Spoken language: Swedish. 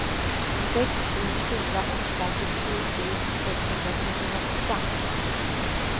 sex sju fyra åtta sextiosju sexhundratrettioåtta